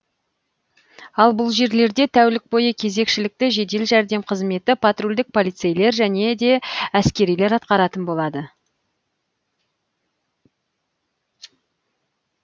ал бұл жерлерде тәулік бойы кезекшілікті жедел жәрдем қызметі патрульдік полицейлер және де әскерилер атқаратын болады